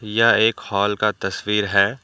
यह एक हॉल का तस्वीर है।